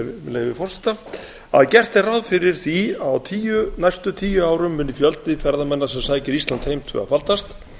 með leyfi forseta að gert er ráð fyrir því að á næstu tíu árum muni fjöldi ferðamanna sem sækir ísland heim tvöfaldast